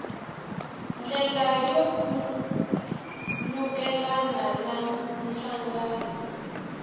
ndlela yo khulukelana na nhlangano